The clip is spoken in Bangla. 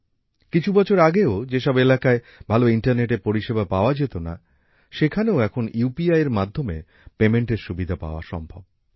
কিছু বছর আগেও যেসব এলাকায় ভালো ইন্টারনেট এর পরিষেবা পাওয়া যেত না সেখানেও এখন ইউপিআই এর মাধ্যমে লেনদেনের সুবিধা পাওয়া সম্ভব